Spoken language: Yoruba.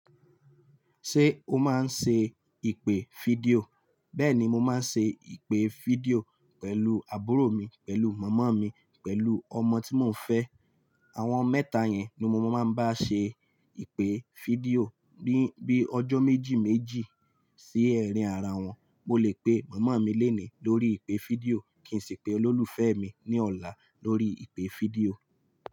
Ṣé o máa ń ṣe ìpè fídíò? Bẹ́ẹ̀ni, mo máa ń ṣe ìpè fídíò pẹ̀lú àbúrò mi, pẹ̀lú màmá mi, pẹ̀lú ọmọ tí mo ń fẹ́. Àwọn mẹ́ta yẹn ni mo máa ń bá ṣe ìpè fídíò bíi ọjọ́ méjì méjì sí arin ara wọn. Mo lè pe màmá mi lónìí lórí ìpè fídíò kí n sì pe olólùfẹ́ mi ní ọ̀la lórí ìpè fídíò.